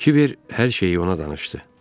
Kibər hər şeyi ona danışdı.